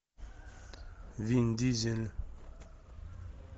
вин дизель